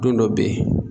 Don dɔ bɛ yen